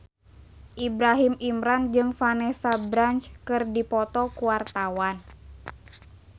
Ibrahim Imran jeung Vanessa Branch keur dipoto ku wartawan